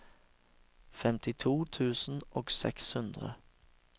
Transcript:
femtito tusen og seks hundre